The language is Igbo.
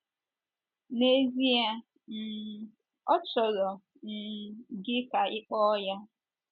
N’ezie, um ọ chọrọ um gị ka ịkpo ya.